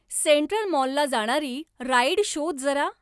central मॉलला जाणारी ride शोध जरा